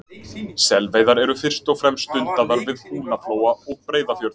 Selveiðar eru fyrst og fremst stundaðar við Húnaflóa og Breiðafjörð.